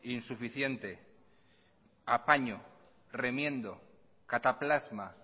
insuficiente apaño remiendo cataplasma